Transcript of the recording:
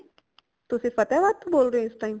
ਤੁਸੀ ਫ਼ਤਿਹਾਬਾਦ ਤੋਂ ਬੋਲ ਰਏ ਹੋ ਇਸ time